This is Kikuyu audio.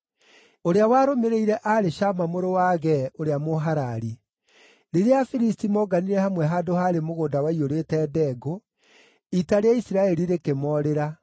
Ũrĩa warũmĩrĩire aarĩ Shama mũrũ wa Agee ũrĩa Mũharari. Rĩrĩa Afilisti monganire hamwe handũ haarĩ mũgũnda waiyũrĩte ndengũ, ita rĩa Isiraeli rĩkĩmoorĩra.